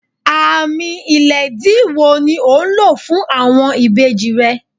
Àámì ilẹ̀dìí wò ni ò ńlọ̀ fún awọn ìbèjì rẹ̀?